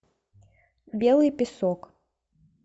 белый песок